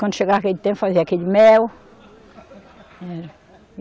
Quando chegava aquele tempo, fazia aquele mel, eh.